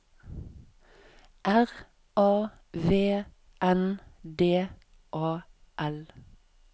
R A V N D A L